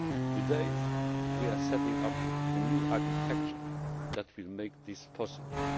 Today we are setting up the new architecture which will make this possible.